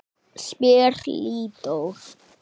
spyr Lídó.